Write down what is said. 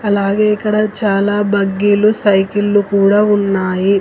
అలాగే ఇక్కడ చాలా బగ్గీలు సైకిళ్లు కూడా ఉన్నాయి.